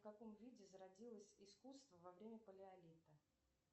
в каком виде зародилось искусство во время палеолита